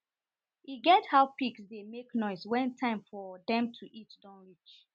e get how pigs dey make noise wen time for dem to eat don reach